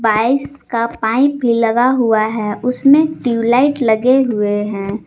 का पाइप भी लगा हुआ है उसमें ट्यूबलाइट लगे हुए हैं।